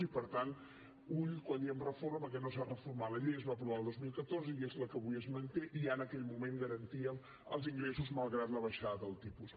i per tant ull quan diem reforma perquè no s’ha reformat la llei es va aprovar el dos mil catorze i és la que avui es manté i ja en aquell moment garantíem els ingressos malgrat la baixada del tipus